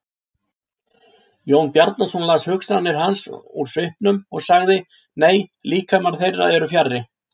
Jón Bjarnason las hugsanir hans úr svipnum og sagði:-Nei, líkamar þeirra eru fjarri.